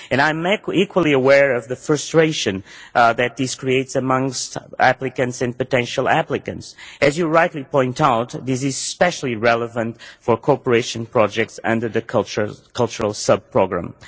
I am equally aware of the frustration that this creates amongst applicants and potential applicants. As you rightly point out, this is especially relevant for cooperation projects under the cultural sub programme.